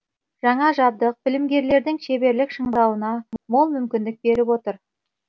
жаңа жабдық білімгерлердің шеберлік шыңдауына мол мүмкіндік беріп отыр